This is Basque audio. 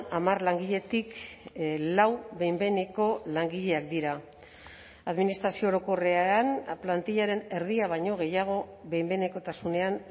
hamar langiletik lau behin behineko langileak dira administrazio orokorrean plantillaren erdia baino gehiago behin behinekotasunean